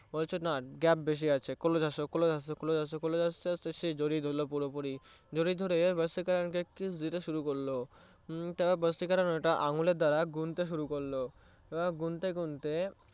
বলছে না gap বেশি আছে close আসো close আসো close আসো জড়িয়ে ধরল পুরোপুরি জড়িয়ে ধরে ভাসীকারানকে kiss দিতে শুরু করলো ভাসীকারান আঙ্গুলের দ্বারা গুনতে শুরু করলো গুনতে গুনতে